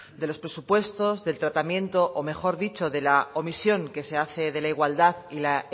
de los presupuestos del tratamiento o mejor dicho de la omisión que se hace de la igualdad y la